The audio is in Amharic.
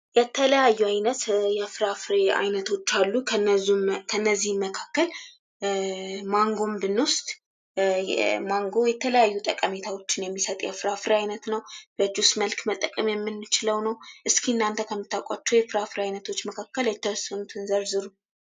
የተለያዩ አይነት የፍራፍሬ አይነቶች አሉ። ከነዚህም ከእነዚህም መካከል ማንጎን ብንወስድ ማንጎ የተለያዩ ጠቀሜታዎችን የሚሰጥ የፍራፍሬ አይነት ነው። በጁስ መልክ መጠቀም የምንችለው ነው። እስኪ እናንተ ከምታውቋቸው የፍራፍሬ አይነቶች መካከል የተወሰኑትን ዝርዝሩ።